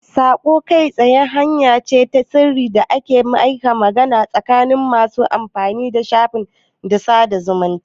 Saƙon kai tsaye hanya ce ta sirri da ake yin magana tsakanin masu amfani da shafin sada zumunta.